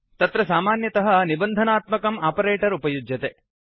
तत्र सामान्यतः निबन्धनात्मकम् आपरेटर् उपयुज्यते